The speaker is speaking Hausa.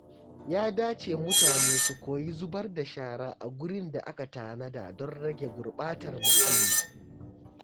Ya dace mutane su koyi zubar da shara a gurin da aka tanada don rage gurɓatar muhalli.